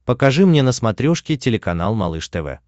покажи мне на смотрешке телеканал малыш тв